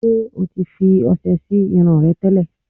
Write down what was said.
Ṣé o ti fi ọṣẹ sí irun rẹ tẹ́lẹ̀?